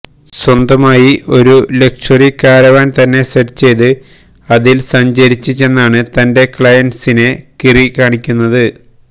സ്വന്തമായി ഒരു luxury caravan തന്നെ സെറ്റ് ചെയ്ത് അതിൽ സഞ്ചരിച്ച് ചെന്നാണ് തന്റെ ക്ലയന്റ്സിനെ കിറി കാണുന്നത്